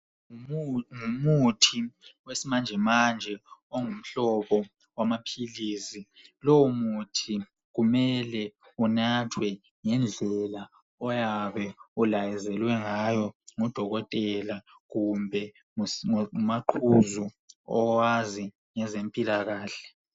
Ngumuthi wesimanjemanje ongumhlobo wamaphilisi lowo muthi kumele unathwe ngendlela oyabe ulayezelwe ngayo ngudokotela kumbe ngumaqhuzu owazi ngezempilakahle.